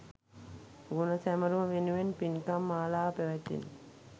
ගුණ සැමරුම වෙනුවෙන් පින්කම් මාලාවක් පැවැත්විණි